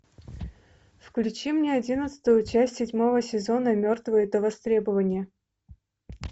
включи мне одиннадцатую часть седьмого сезона мертвые до востребования